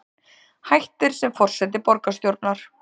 Hættir sem forseti borgarstjórnar